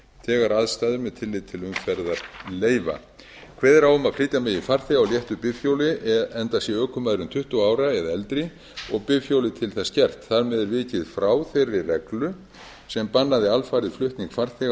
þegar aðstæður með tilliti til umferðar leyfa kveðið er á um að flytja megi farþega á léttu bifhjóli enda sé ökumaðurinn tuttugu ára eða eldri og bifhjólið til þess gert þar með er vikið frá þeirri reglu sem bannaði alfarið flutning farþega